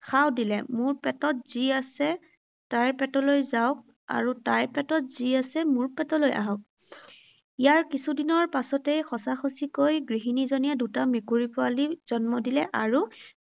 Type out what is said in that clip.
শাও দিলে, মোৰ পেটত যি আছে তাইৰ পেটলৈ যাওঁক আৰু তাইৰ পেটত যি আছে মোৰ পেটলৈ আহক। ইয়াৰ কিছুদিনৰ পাছতেই সঁচা সঁচিকৈ গৃহিনীজনীয়ে দুটা মেকুৰী জন্ম দিলে আৰু